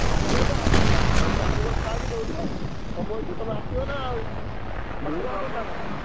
ଠାକୁର ତ ହବ ତମେ ମାମୁ ଘରେ ଥାଅ କି ଯୋଉଠି ଥାଅ ତମ ଇଚ୍ଛା ତମେ ଆସିବ ନା ଆଉ।